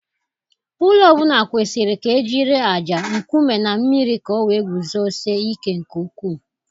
Ụlọ ọ bụla kwesịrị ka ejiri ájá, nkume, na mmiri ka ọ wee guzosie ike nke ukwuu.